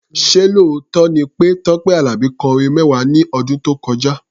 Ṣé lóòótọ́ ni pé Tọ́pẹ́ Àlàbí kọ orin mẹ́wàá ní ọdún tó kọjá?